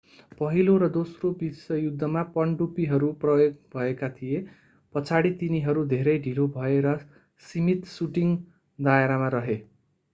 पहिलो र दोस्रो विश्व युद्धमा पनडुब्बीहरू प्रयोग भएका थिए पछाडि तिनीहरू धेरै ढिलो भए र सीमित शूटिंग दायरामा रहे